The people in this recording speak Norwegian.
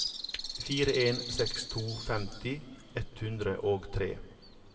fire en seks to femti ett hundre og tre